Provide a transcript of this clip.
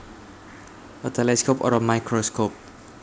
a telescope or a microscope